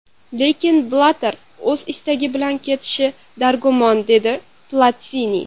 Lekin Blatter o‘z istagi bilan ketishi dargumon”, dedi Platini.